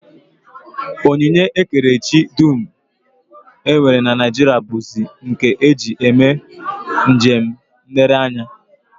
Onyinye ekerechi dum e nwere na Naijiria bụzi nke e ji eme njem nlereanya